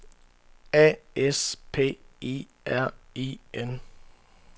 A S P I R I N